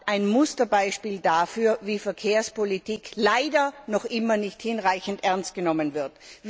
ein Musterbeispiel dafür, wie Verkehrspolitik leider noch immer nicht hinreichend ernst genommen wird.